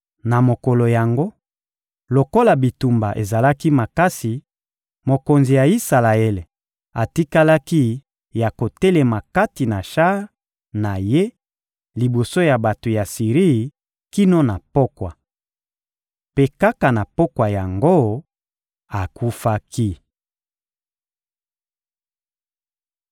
Na mokolo yango, lokola bitumba ezalaki makasi, mokonzi ya Isalaele atikalaki ya kotelema kati na shar na ye liboso ya bato ya Siri, kino na pokwa. Mpe kaka na pokwa yango, akufaki.